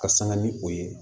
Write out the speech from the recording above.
Ka sanga ni o ye